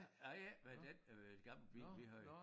Nej ikke med den øh gamle bil vi havde